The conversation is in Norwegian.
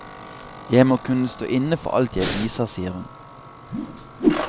Jeg må kunne stå inne for alt jeg viser, sier hun.